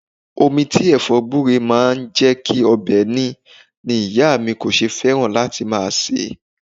Omi tí Ẹ̀fọ́ gbure máa ń jẹ́ kí ọbẹ̀ ní ni ìyá mi kò ṣe fẹ́ràn láti máa se é.